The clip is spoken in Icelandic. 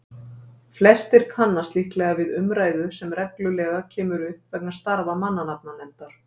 Flestir kannast líklega við umræðu sem reglulega kemur upp vegna starfa mannanafnanefndar.